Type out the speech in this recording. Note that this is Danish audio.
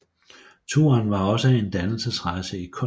Turen var også en dannelsesrejse i kunst